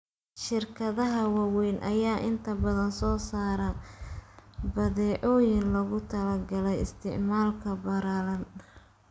Shirkadaha waaweyn ayaa inta badan soo saara badeecooyin loogu talagalay isticmaalka ballaaran.